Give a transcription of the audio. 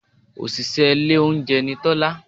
Òṣìṣẹ́ ilé oúnjẹ ni Tọ́lá